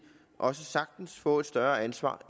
også sagtens få et større ansvar